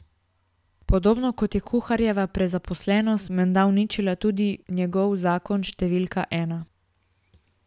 Podobno kot je kuharjeva prezaposlenost menda uničila tudi njegov zakon številka ena.